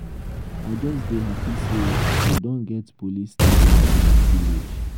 i just dey happy say we don get police station for my village